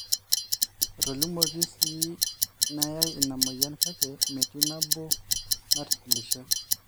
etolimuoki sii naayai ina moyian kake metii nabo natitilishe